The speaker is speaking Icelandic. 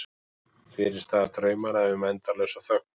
Fyrirstaða draumanna um endalausa þögn.